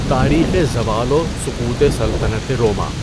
تاریخِ زوال و سقوطِ سلطنتِ روما